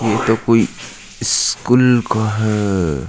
वो तो कोई स्कूल का है।